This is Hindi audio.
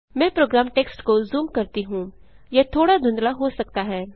मैं प्रोग्राम टेक्स्ट को जूम करती हूँ यह थोड़ा धुंधला हो सकता है